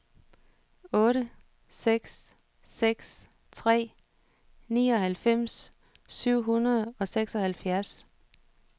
otte seks seks tre nioghalvfems syv hundrede og seksoghalvfjerds